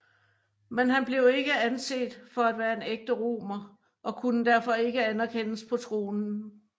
Men han blev ikke anset for at være en ægte romer og kunne derfor ikke anerkendes på tronen